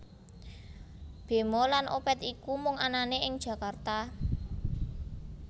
Bemo lan Opet iku mung anane ing Jakarta